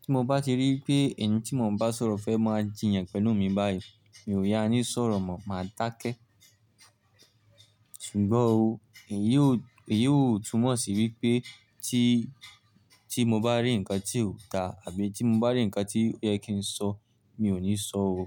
Tí mo bá ti rí wipé ẹni tí mo n bá sọ̀rọ̀ fẹ́ máa jiyàn pẹ̀lú mi báyìí, mi ò yá ní sọ̀rọ̀ mọ̀, màá dákẹ́. Ṣùgbọ́n òo, èyí ò túmọ̀ sí wípé tí mo bá rí ǹnkan tí ò da àbí tí mo bá rí ǹnkan tí ó yẹ kí n sọ, mi ò ní sọ o.